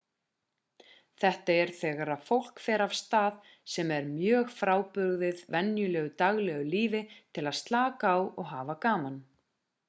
þetta er þegar fólk fer á stað sem er mjög frábrugðið venjulegu daglegu lífi til að slaka á og hafa gaman